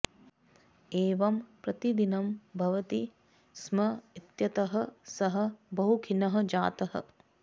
एवं प्रतिदिनं भवति स्म इत्यतः सः बहुखिन्नः जातः